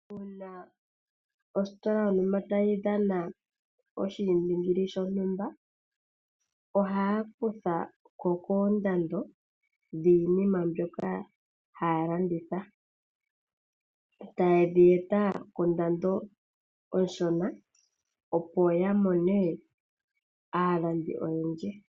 Uuna ositola yontumba tayi dhana oshi indingili shontumba, ohaya kuthako koondando dhiinima mbyoka haya landitha. Etaye dhi eta kondando onshona opo ya mone aalandi oyendji.